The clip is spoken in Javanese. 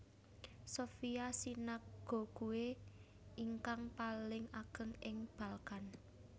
Sofia Synagogue ingkang paling ageng ing Balkan